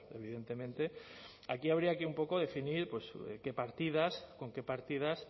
evidentemente aquí habría que un poco definir qué partidas con qué partidas